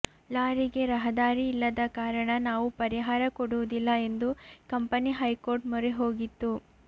ಲಾರಿಗೆ ರಹದಾರಿ ಇಲ್ಲದ ಕಾರಣ ನಾವು ಪರಿಹಾರ ಕೊಡುವುದಿಲ್ಲ ಎಂದು ಕಂಪನಿ ಹೈಕೋರ್ಟ್ ಮೊರೆ ಹೋಗಿತ್ತು